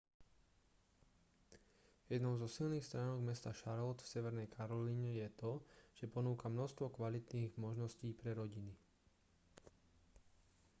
jednou zo silných stránok mesta charlotte v severnej karolíne je to že ponúka množstvo kvalitných možností pre rodiny